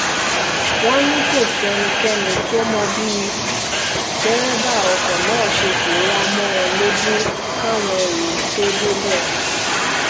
wọ́n ní kò sẹ́nikẹ́ni tó mọ bí dẹ́rẹ́bà ọkọ̀ náà ṣe pòórá mọ́ wọn lójú káwọn èrò tóo débẹ̀